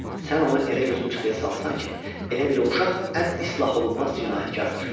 Sən onu elə gözümçıxdıya salmısan ki, elə bil o uşaq ən islaholunmaz cinayətkardır.